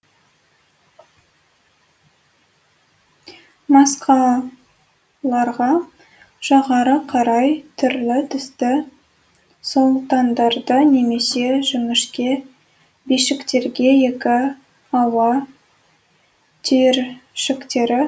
маскаларға жоғары қарай түрлі түсті солтандарды немесе жіңішке бишіктерге екі ауа түйіршіктерін қыстырады